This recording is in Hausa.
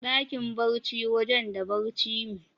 Dakin barci wajen da barci me.